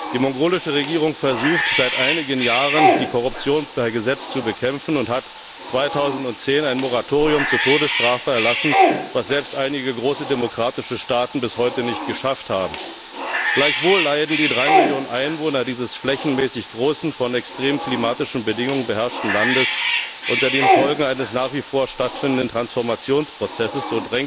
Die mongolische Regierung versucht seit einigen Jahren, die Korruption per Gesetz zu bekämpfen und hat 2010 ein Moratorium zur Todesstrafe erlassen, was selbst einige große demokratische Staaten bis heute nicht geschafft haben. Gleichwohl leiden die 3 Millionen Einwohner dieses flächenmäßig großen, von extremen klimatischen Bedingungen beherrschten Landes unter den Folgen eines nach wie vor stattfindenden Transformationsprozesses.